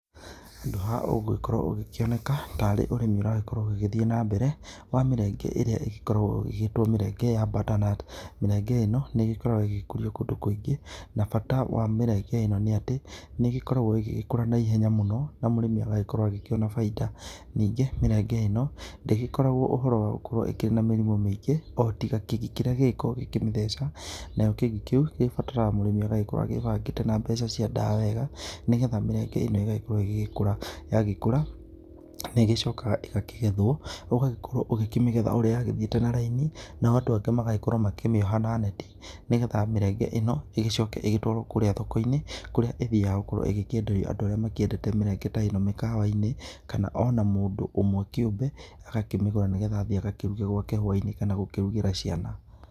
Handũ haha ũgũgĩkorwo ũgĩkĩoneka tarĩ ũrĩmi ũragĩkorwo ũgĩgĩthiĩ na mbere wa mĩrenge ĩrĩa ĩgĩkoragwo ĩgĩgĩtwo mĩrenge ya butternut. Mĩrenge ĩno nĩ ĩgĩkoragwo ĩgĩkũrio kũndũ kũingĩ, na bata wa mĩrenge ĩno nĩ atĩ nĩ ĩgĩkoragwo ĩgĩgĩkũra na ihenya mũno, na mũrĩmi agagĩkorwo agĩkĩona bainda. Ningĩ mĩrenge ĩno ndĩgĩkoragwo ũhoro wa gũkorwo ĩkĩrĩ na mĩrimũ mĩingĩ, o tiga kĩgii kĩrĩa gĩgĩkoragwo gĩkĩmĩtheca. Nayo kĩgii kĩu gĩbataraga mũrĩmi akorwo agĩĩbangĩte na mbeca cia ndawa wega, nĩgetha mĩrenge ĩno ĩgagĩkorwo ĩgĩgĩkũra. Yagĩkũra nĩ ĩgĩcokaga ĩgakĩgethwo, ũgagĩkorwo ũgĩkĩmĩgetha ũrĩa yagĩthiĩte na raini, nao andũ angĩ magagĩkorwo makĩmĩoha na neti, nĩgetha mĩrenge ĩno ĩgĩcoke ĩgĩtwarwo kũũrĩa thoko-inĩ, kũrĩa ĩthiaga gũkorwo ĩgĩkĩenderio andũ arĩa makĩendete mĩrenge ta ĩno mĩkawa-inĩ, kana ona mũndũ ũmwe kĩũmbe agakĩmĩgũra, nĩgetha agakĩruge gwake hwaĩ-inĩ, kana agakĩrugĩre ciana.